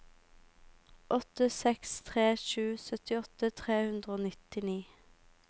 åtte seks tre sju syttiåtte tre hundre og nittini